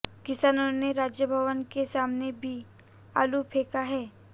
किसानों ने राजभवन के सामने भी आलू फेंका है